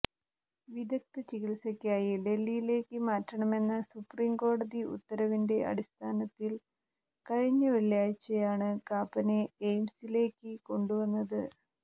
വിദ്ഗ്ധ ചികിത്സക്കായി ഡൽഹിയിലേക്ക് മാറ്റണമെന്ന സുപ്രീംകോടതി ഉത്തരവിന്റെ അടിസ്ഥാനത്തിൽ കഴിഞ്ഞ വെള്ളിയാഴ്ചയാണ് കാപ്പനെ എയിംസിലേക്ക് കൊണ്ടുവന്നത്